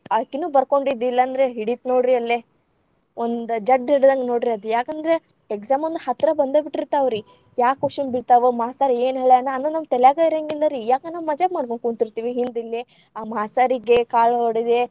ಅಕಿನೂ ಬರ್ಕೊಂಡಿದ್ದಿಲಂದ್ರ ಹಿಡಿತ್‌ ನೋಡ್ರೀ ಅಲ್ಲೇ ಒಂದ್‌ ಜಡ್ದ್ ಹಿಡಿದಂಗ ನೋಡ್ರಿ ಅದ ಯಾಕಂದ್ರ ‌ exam ಒಂದ ಹತ್ರ ಬಂದಬಿಟ್ಟಿರ್ತಾವ್ರಿ. ಯಾವ question ಬೀಳತಾವೊ, ಮಾಸ್ತರ್‌ ಏನ ಹೇಳ್ಯಾನ ಅನ್ನೋದ್ ನಮ್ಮ ತಲ್ಯಾಗ್‌ ಇರಂಗಿಲ್ಲಾರ್ರಿ. ಯಾಕ ನಾವ್‌ ಮಜಾಕ ಮಾಡಕೋಂಕುಂತಿರ್ತೇವಿ ಹಿಂದ ಇಲ್ಲೆ. ಆ ಮಾಸ್ತರಿಗೆ ಕಾಳ ಹೊಡೆದೆ.